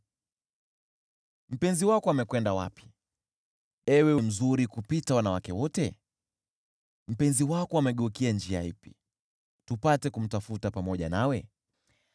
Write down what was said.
Mpenzi wako amekwenda wapi, ewe mzuri kupita wanawake wote? Mpenzi wako amegeukia njia ipi, tupate kumtafuta pamoja nawe?